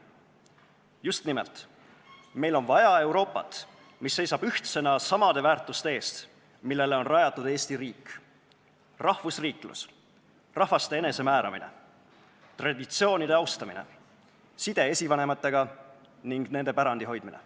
Just nimelt, meil on vaja Euroopat, mis seisab ühtsena samade väärtuste eest, millele on rajatud Eesti riik: rahvusriiklus, rahvaste enesemääramine, traditsioonide austamine, side esivanematega ning nende pärandi hoidmine.